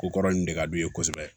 Ko kɔrɔ in de ka d'u ye kosɛbɛ